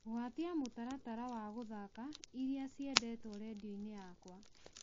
gwatia mũtaratara wa gũthaaka iria ciendetwo rĩndiũ-inĩ yakwa